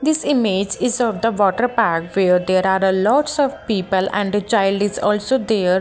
this image is of the water park where there are a lots of people and a child is also there.